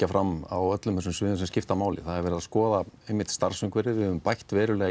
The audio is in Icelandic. fram á öllum þessum sviðum sem skipta máli það er verið að skoða starfsumhverfið við höfum bætt verulega